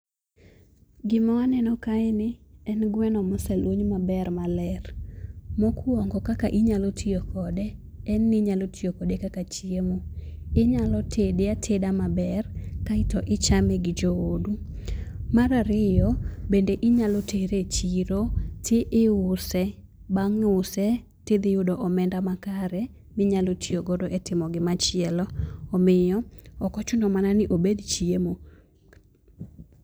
Gima waneno kaeni en gweno moseluny maber maler. Mokuongo kaka inyalo tiyo kode en ni inyalo tiyo kode kaka chiemo. Inyalo tede ateda maber, kaeto ichame gi joodu. Mar ariyo, bende inyalo tere e chiro, tiuse, bang' use tidhi yudo omenda makare, minyalo tiyogo etimo gimachielo. Omiyo, ok ochuno manani obed chiemo.